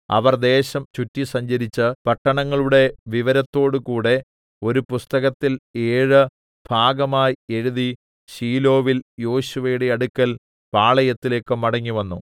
അവർ ദേശം ചുറ്റി സഞ്ചരിച്ച് പട്ടണങ്ങളുടെ വിവരത്തോടുകൂടെ ഒരു പുസ്തകത്തിൽ ഏഴു ഭാഗമായി എഴുതി ശീലോവിൽ യോശുവയുടെ അടുക്കൽ പാളയത്തിലേക്ക് മടങ്ങിവന്നു